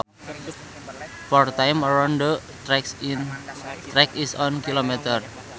Four times around the track is one kilometer